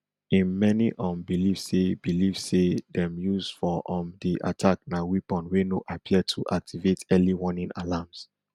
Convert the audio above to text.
im many um believe say believe say dem use for um di attack na weapon wey no appear to activate early warning alarms